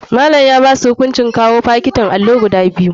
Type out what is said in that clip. Malam ya basu hukuncin kawao fakitin alli guda biyu gobe.